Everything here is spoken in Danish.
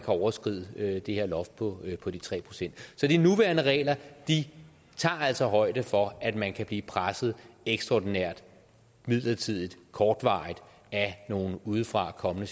overskride det her loft på på de tre procent så de nuværende regler tager altså højde for at man kan blive presset ekstraordinært midlertidigt kortvarigt af nogle udefra kommende